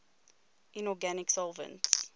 inorganic solvents